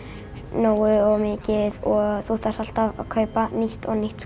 nógu mikið og þú þarft alltaf að kaupa nýtt og nýtt